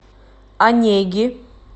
онеги